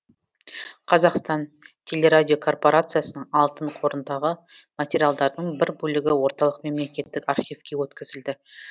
қазақстан телерадиокорпорациясының алтын қорындағы материалдардың бір бөлігі орталық мемлекеттік архивке өткізілді